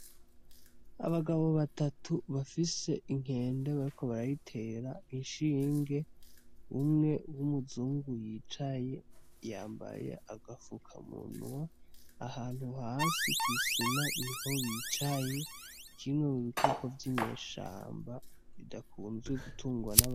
Abagabo batatu bafise inkende bariko barayitera ishinge, Umwe w'umuzungu yicaye yambaye agapfuka munwa ahantu hasi kw'isima niho bicaye kimwe m'ubikoko vy'inyeshamba bidakunzwe gutungwa n'abantu.